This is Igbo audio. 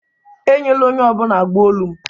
Enyela onye ọ bụla agbụ olu m